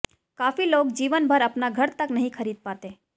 काफी लोग जीवनभर अपना घर तक नहीं खरीद पाते